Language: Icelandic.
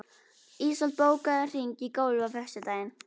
Ísold, bókaðu hring í golf á föstudaginn.